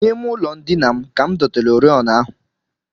N'ime ụlọndina m ka m dotere oriọna ahụ